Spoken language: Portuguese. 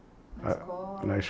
Na escola